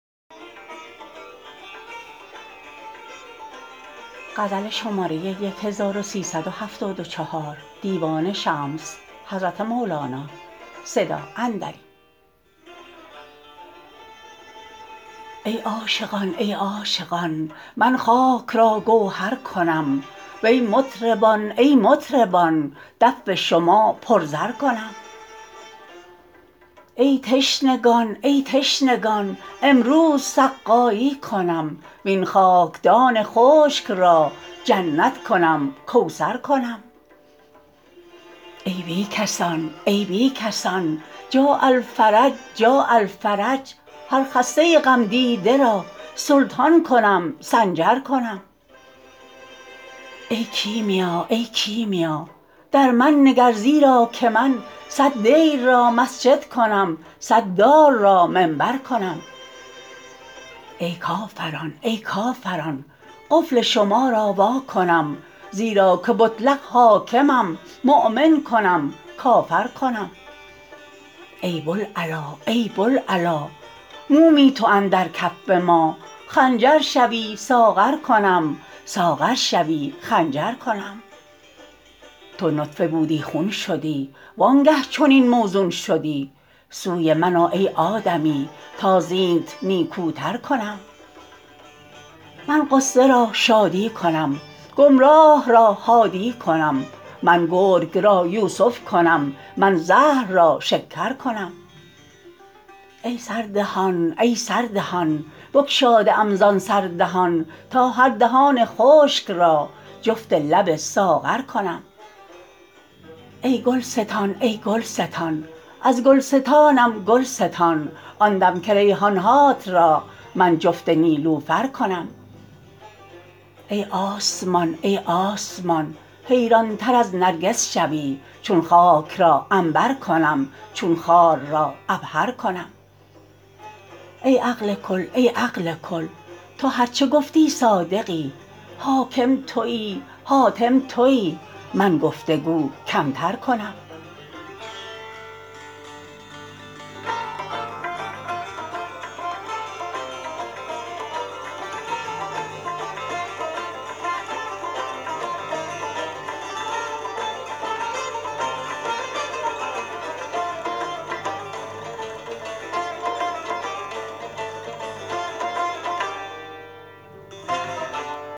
ای عاشقان ای عاشقان من خاک را گوهر کنم وی مطربان ای مطربان دف شما پر زر کنم ای تشنگان ای تشنگان امروز سقایی کنم وین خاکدان خشک را جنت کنم کوثر کنم ای بی کسان ای بی کسان جاء الفرج جاء الفرج هر خسته غمدیده را سلطان کنم سنجر کنم ای کیمیا ای کیمیا در من نگر زیرا که من صد دیر را مسجد کنم صد دار را منبر کنم ای کافران ای کافران قفل شما را وا کنم زیرا که مطلق حاکمم مؤمن کنم کافر کنم ای بوالعلا ای بوالعلا مومی تو اندر کف ما خنجر شوی ساغر کنم ساغر شوی خنجر کنم تو نطفه بودی خون شدی وانگه چنین موزون شدی سوی من آ ای آدمی تا زینت نیکوتر کنم من غصه را شادی کنم گمراه را هادی کنم من گرگ را یوسف کنم من زهر را شکر کنم ای سردهان ای سردهان بگشاده ام زان سر دهان تا هر دهان خشک را جفت لب ساغر کنم ای گلستان ای گلستان از گلستانم گل ستان آن دم که ریحان هات را من جفت نیلوفر کنم ای آسمان ای آسمان حیرانتر از نرگس شوی چون خاک را عنبر کنم چون خار را عبهر کنم ای عقل کل ای عقل کل تو هر چه گفتی صادقی حاکم تویی حاتم تویی من گفت و گو کمتر کنم